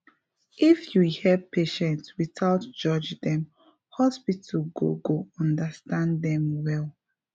if you hear patient without judge dem hospital go go understand dem well